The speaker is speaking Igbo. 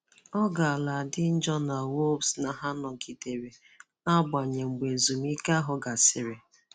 Ọ gaara adị njọ na Wolves na ha nọgidere na-agbanye mgbe ezumike ahụ gasịrị.